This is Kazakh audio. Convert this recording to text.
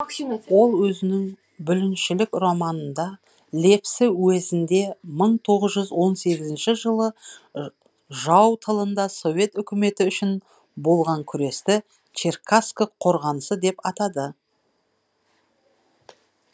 ол өзінің бүліншілік романында лепсі уезінде мың тоғыз жүз он сегізінші жылы жау тылында совет өкіметі үшін болған күресті черкасск қорғанысы деп атады